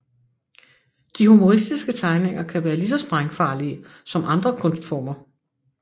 De humoristiske tegninger kan være lige så sprængfarlige som andre kunstformer